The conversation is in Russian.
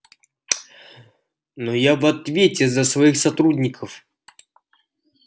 но я в ответе за своих сотрудников